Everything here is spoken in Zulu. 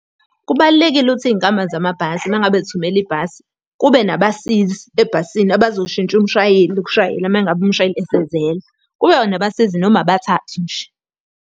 Kubalulekile ukuthi iy'nkampani zamabhasi uma ngabe zithumela ibhasi, kube nabasizi ebhasini abazoshintsha umshayeli ukushayela uma ngabe umshayeli esezela. Kube nabasizi noma abathathu nje.